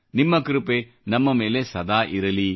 ನಿಮ್ಮ ಕೃಪೆ ನಮ್ಮ ಮೇಲೆ ಸದಾ ಇರಲಿ